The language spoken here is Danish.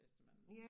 Hvis da man